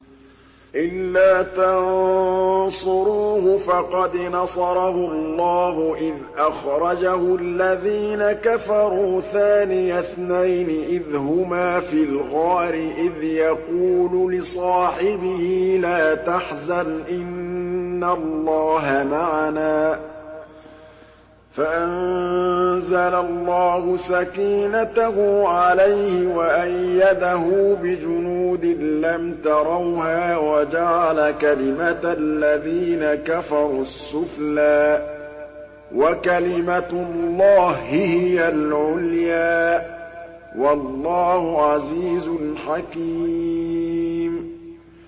إِلَّا تَنصُرُوهُ فَقَدْ نَصَرَهُ اللَّهُ إِذْ أَخْرَجَهُ الَّذِينَ كَفَرُوا ثَانِيَ اثْنَيْنِ إِذْ هُمَا فِي الْغَارِ إِذْ يَقُولُ لِصَاحِبِهِ لَا تَحْزَنْ إِنَّ اللَّهَ مَعَنَا ۖ فَأَنزَلَ اللَّهُ سَكِينَتَهُ عَلَيْهِ وَأَيَّدَهُ بِجُنُودٍ لَّمْ تَرَوْهَا وَجَعَلَ كَلِمَةَ الَّذِينَ كَفَرُوا السُّفْلَىٰ ۗ وَكَلِمَةُ اللَّهِ هِيَ الْعُلْيَا ۗ وَاللَّهُ عَزِيزٌ حَكِيمٌ